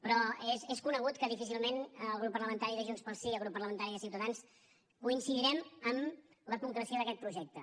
però és conegut que difícilment el grup parlamentari de junts pel sí i el grup parlamentari de ciutadans coincidirem amb la concreció d’aquest projecte